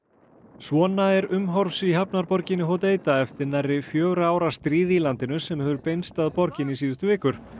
svona er umhorfs í hafnarborginni eftir nærri fjögurra ára stríð í landinu sem hefur beinst að borginni síðustu vikur